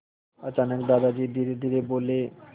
अचानक दादाजी धीरेधीरे बोले